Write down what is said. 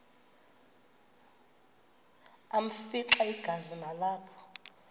afimxa igazi nalapho